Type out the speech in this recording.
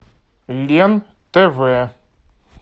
лен тв